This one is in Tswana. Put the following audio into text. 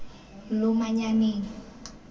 lomanyaneng